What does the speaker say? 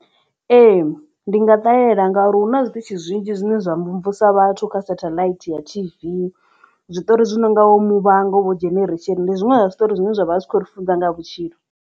Ee ndi nga ṱalela ngauri hu na zwiṱitzhi zwinzhi zwine zwa mvumvusa vhathu kha satheḽaithi ya T_V zwiṱori zwi nonga vho muvhango vho dzheneresheni ndi zwiṅwe zwa zwiṱori zwine zwavha zwi kho ri funza nga vhutshilo.